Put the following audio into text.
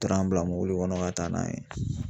Taara an bila mobili kɔnɔ ka taa n'an ye